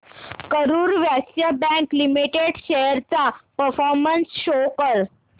Karur Vysya bank limited shares चा performance show कर